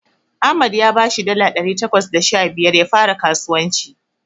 Ahmad ya bashi dala ɗari takwas da sha biyar ya fara skasuwanci.